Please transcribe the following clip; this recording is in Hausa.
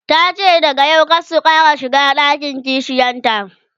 tace daga yau kada su Ƙara shiga ɗakin kishiyanta